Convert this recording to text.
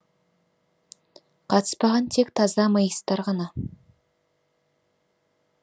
қатыспаған тек таза моисттар ғана